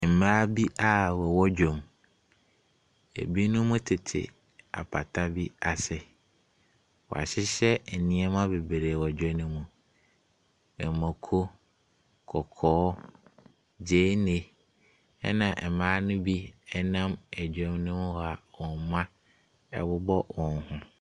Mmaa bi a wɔwɔ dwam; ebinom tete apata bi ase. Wɔahyehyɛ nneɛma bebree wɔ dwa nomu. Mako, kɔkɔɔ, gyeene, na mmaa no mu bi nam dwam hɔ a wɔn mma bobɔ wɔn ho.